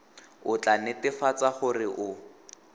o tla netefatsa gore o